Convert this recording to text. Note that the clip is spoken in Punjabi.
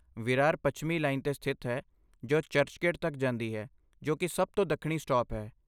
ਵਿਰਾਰ ਪੱਛਮੀ ਲਾਈਨ 'ਤੇ ਸਥਿਤ ਹੈ ਜੋ ਚਰਚਗੇਟ ਤੱਕ ਜਾਂਦੀ ਹੈ, ਜੋ ਕਿ ਸਭ ਤੋਂ ਦੱਖਣੀ ਸਟਾਪ ਹੈ।